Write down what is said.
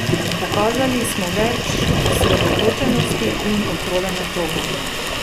Pokazali smo več osredotočenosti in kontrole nad žogo.